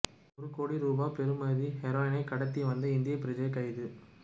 ஒரு கோடி ரூபா பெறுமதியான ஹெரோயினை கடத்தி வந்த இந்திய பிரஜை கைது